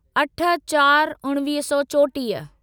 अठ चार उणिवीह सौ चोटीह